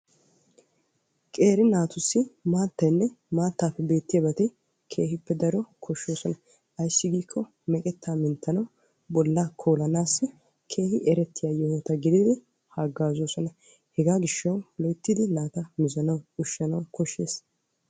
Qeeri naatussi maataynne maatappe beetiyabatti keehippe koshosonna ayssi giikko bolla minttanawunne koolanawu maadosonna.